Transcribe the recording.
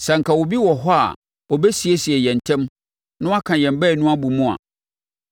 Sɛ anka obi wɔ hɔ a ɔbɛsiesie yɛn ntam na waka yɛn baanu abɔ mu a,